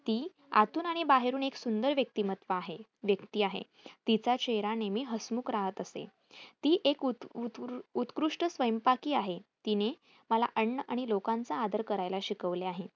ती आतुन आणि बाहेरून एक सुंदर व्यक्तीमत्व आहे व्यक्ती आहे. तिचा चेहरा नेहमी हसमुख राहत असे. ती एक वृत्कृष्ठ स्वयंपाकी आहे. तिने मला अन्न आणि लोकांचा आदर करायला शिकवले आहे.